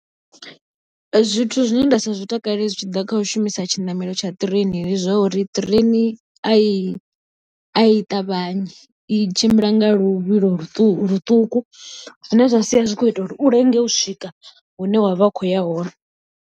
Zwithu zwine nda sa zwi takalele zwi tshi ḓa kha u shumisa tshinamelo tsha ṱireini, ndi zwa uri ṱireini a i ṱavhanyi i tshimbila nga luvhilo ḽuṱuku zwine zwa sia zwi kho ita uri u lenge u swika hune wa vha u khou ya hone.